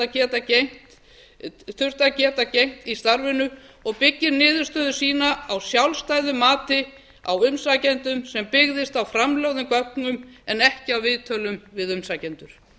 að geta gegnt í starfinu og byggir niðurstöðu sína á sjálfstæðu mati á umsækjendum sem byggðist á framlögðum gögnum en ekki á viðtölum við umsækjendur